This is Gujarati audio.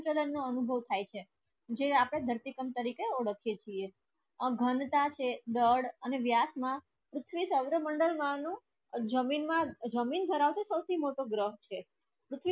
સાથે હલન ચલણ નો અનુભવ થાય છે જે આપણે ધરતી કામ તરીકે ઓડખીએ છીએ આ ઘનતા છે દડ અને વ્યાસ માં પૃથ્વી સૌરમંડળ માનું જમીન માં જમીન ધરાવતે સૌથી મોટો ગ્રહ છે